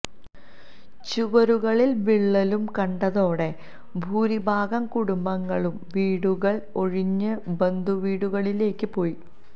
ചുവരുകളില് വിള്ളലും കണ്ടതോടെ ഭൂരിഭാഗം കുടുംബങ്ങളും വീടുകള് ഒഴിഞ്ഞ് ബന്ധുവീടുകളിലേയ്ക്ക് പോയി